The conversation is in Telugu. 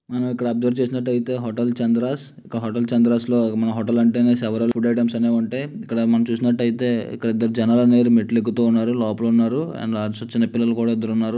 మనం ఇక్కడ అబ్జర్వ్ చేసినట్టయితే హోటల్ చంద్రస్ లో. హోటల్ చంద్రస్ హోటల్ అంటే సేవెరల్ ఫుడ్ ఐటమ్స్ అనేవి ఉంటాయి. ఇక్కడ మనం చూసినట్టయితే ఇంకా ఇద్దరు జనాలు అనే వారు జనాలు మెట్లు ఎక్కుతూ ఉన్నారు. లోపల ఉన్నారు అండ్ లాస్ట్ లో చిన్న పిల్లలు కూడా --